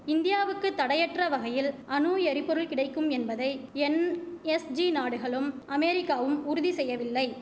இந்தியாவுக்கு தடையற்ற வகையில் அணு எரிபொருள் கிடைக்கும் என்பதை என்எஸ்ஜி நாடுகளும் அமேரிக்காவும் உறுதி செய்யவில்லை